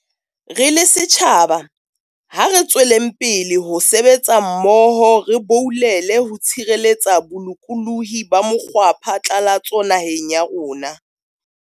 Re le setjhaba, ha re tsweleng pele ho sebetsa mmoho re boulele ho tshireletsa bolokolohi ba mokgwapha tlalatso naheng ya rona.